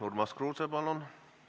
Urmas Kruuse, palun!